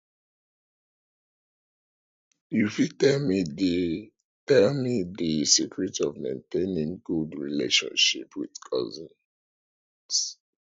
you fit tell me di tell me di secret of maintaining good relationship with cousins